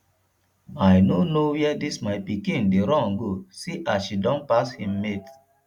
i no know where dis my pikin dey run go see as she don pass im mates